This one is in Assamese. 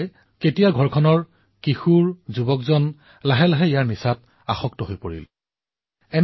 এবাৰ ইয়াৰ কবলত ঘৰৰ কিশোৰ আৰু তৰুণ সোমাই পৰিলে ধীৰে ধীৰে এই নিচাৰ হাতোৰালৈ নিজকে আগুৱাই নিয়ে